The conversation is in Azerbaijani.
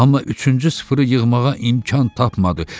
Amma üçüncü sıfırı yığmağa imkan tapmadı.